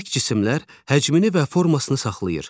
Bərk cisimlər həcmini və formasını saxlayır.